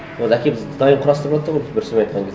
оларды әкеліп дайын құрастырыватты ғой бір сөзбен айтқан кезде